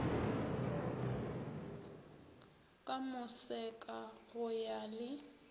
ka moseka go ya le